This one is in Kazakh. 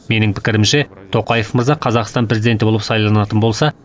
менің пікірімше тоқаев мырза қазақстан президенті болып сайланатын болса